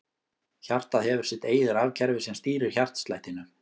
Hjartað hefur sitt eigið rafkerfi sem stýrir hjartslættinum.